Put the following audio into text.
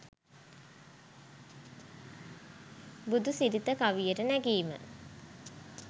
බුදු සිරිත කවියට නැඟීම